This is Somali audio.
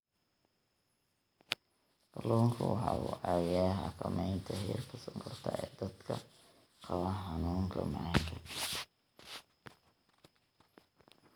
Kalluunku waxa uu caawiyaa xakamaynta heerka sonkorta ee dadka qaba xanuunka macaanka.